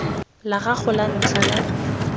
la gago la ntlha la